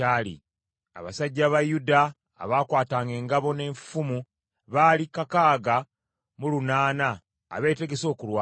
abasajja ba Yuda abaakwatanga engabo n’effumu baali kakaaga mu lunaana abeetegese okulwana;